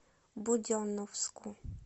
буденновску